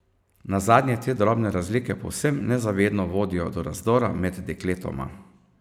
Nazadnje te drobne razlike povsem nezavedno vodijo do razdora med dekletoma.